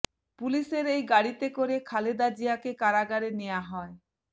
পুলিশের এই গাড়িতে করে খালেদা জিয়াকে কারাগারে নেয়া হয়